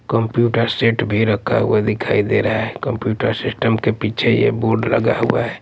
Computer set भी रखा हुआ दिखाई दे रहा हैकंप्यूटर सिस्टम के पीछे यह बोर्ड लगा हुआ है।